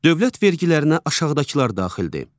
Dövlət vergilərinə aşağıdakılar daxildir.